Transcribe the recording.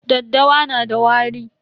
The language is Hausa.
Daddawa na da wari.